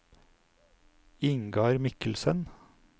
Ingar Mikkelsen